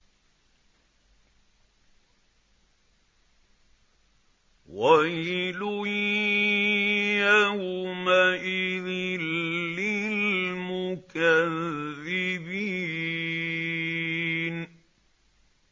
وَيْلٌ يَوْمَئِذٍ لِّلْمُكَذِّبِينَ